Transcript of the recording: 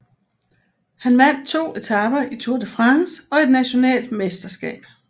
Han vandt 2 etaper i Tour de France og et national mesterskab